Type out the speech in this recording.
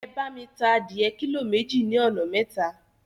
Ẹ bá mi ta adìẹ kílò méjì ní ọ̀nà mẹ́ta.